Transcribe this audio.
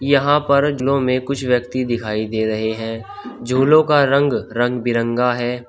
यहां पर झूलों में कुछ व्यक्ति दिखाई दे रहे हैं झूलों का रंग रंग बिरंगा है।